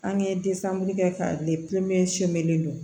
An ye kɛ k'a don